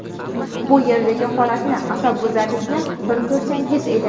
Bu yerdagi holatni, asabbuzarlikni bir ko‘rsangiz edi.